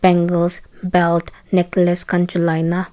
bangles belt necklace khan chulai na--